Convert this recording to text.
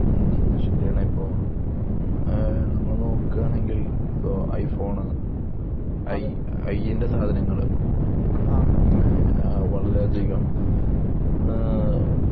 മ്മ് ശെരിയാണ് ഇപ്പൊ ഏഹ് നോക്കാണെങ്കിൽ ഇപ്പൊ ഐഫോൺ ഐ ഐൻ്റെ സാധനങ്ങള് അഹ് പിന്നെ വളരെയധികം ആഹ്